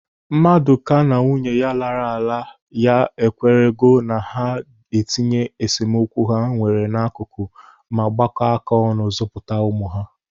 Madụka na nwunye lara ala. ya ekwerego na ha itinye esemokwu ha nwere n'akụkụ ma gbaka aka ọnụ zụpụta ụmụ ha.